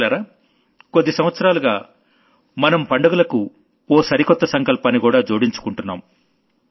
మిత్రులారా కొద్ది సంవత్సరాలుగా మన పండుగలకు ఓ సరికొత్త సంకల్పాన్నికూడా జోడించుకున్నాం